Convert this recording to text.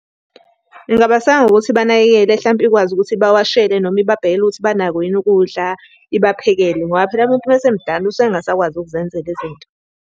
Ingabaseka ngokuthi ibanakekele hlampe ikwazi ukuthi ibawashelwe noma ibabhekele ukuthi banako yini ukudla ibaphekele, ngoba phela umuntu uma esemdala usuke engasakwazi ukuzenzela izinto.